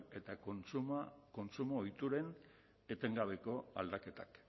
eta kontsumo ohituren etengabeko aldaketak